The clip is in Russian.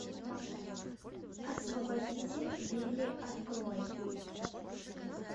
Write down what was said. освободите вилли открой